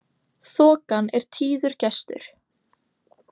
Þokan er tíður gestur.